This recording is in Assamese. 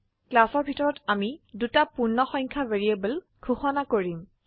ক্লাসৰ ভিতৰত আমি দুটি পূৰ্ণসংখ্যা ভ্যাৰিয়েবল ঘোষিত কৰিম